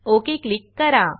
okay click करा